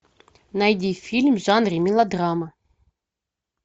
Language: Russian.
найди фильм в жанре мелодрама